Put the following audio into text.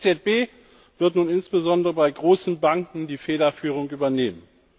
Die EZB wird nun insbesondere bei großen Banken die Federführung übernehmen.